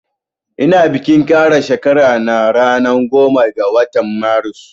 Ina bikin kara shekara na ranan goma ga watan marus